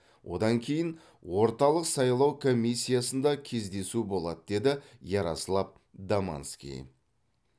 одан кейін орталық сайлау комиссиясында кездесу болады деді ярослав домански